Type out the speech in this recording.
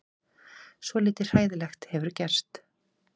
Svolítið hræðilegt hefur gerst.